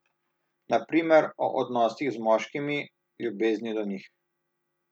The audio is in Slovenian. Na primer o odnosih z moškimi, ljubezni do njih.